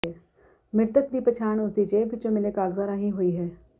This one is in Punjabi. ਮ੍ਰਿਤਕ ਦੀ ਪਛਾਣ ਉਸ ਦੀ ਜੇਬ ਵਿੱਚੋਂ ਮਿਲੇ ਕਾਗਜ਼ਾਂ ਰਾਹੀਂ ਹੋਈ ਹੈ